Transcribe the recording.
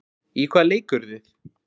Í hvaða leik eruð þið?